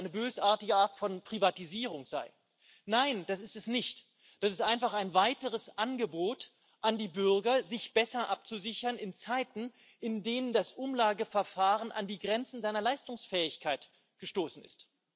Die sagen, dass das eine bösartige Art von Privatisierung sei. Nein, das ist es nicht! Das ist einfach ein weiteres Angebot an die Bürger, sich besser abzusichern in Zeiten, in denen das Umlageverfahren an die Grenzen seiner Leistungsfähigkeit gestoßen ist.